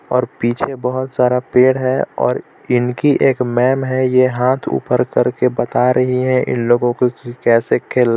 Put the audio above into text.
और पीछे बोहोत सारा पेड़ हे और इनकी एक मेम हे ये हाथ ऊपर करके बता रही हे इन लोगो को की कैसे खेलना हे.